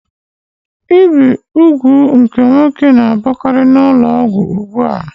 Ibi úgwù nke nwoke na-abụkarị n'ụlọọgwụ ụgbua.